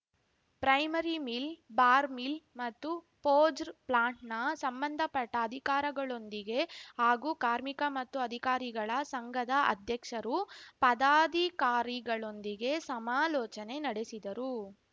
primary mill bar mill ಮತ್ತು ಫೋಜರ್ ಪ್ಲಾಂಟ್‌ನ ಸಂಬಂಧಪಟ್ಟಅಧಿಕಾರಗಳೊಂದಿಗೆ ಹಾಗೂ ಕಾರ್ಮಿಕ ಮತ್ತು ಅಧಿಕಾರಿಗಳ ಸಂಘದ ಅಧ್ಯಕ್ಷರು ಪದಾಧಿಕಾರಿಗಳೊಂದಿಗೆ ಸಮಾಲೋಚನೆ ನಡೆಸಿದರು